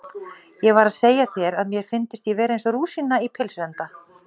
Ég var að segja þér að mér fyndist ég vera eins og rúsína í pylsuenda